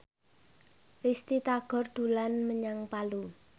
Risty Tagor dolan menyang Palu